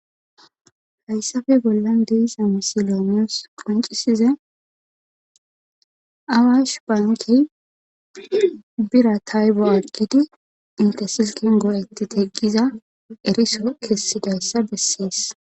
Hayssafe bollan deesa misiloomiyos qoncisiza awash baankey bira taybo aggidi intesilkin goo'eti tegqiza eriso kessidayssa bessees.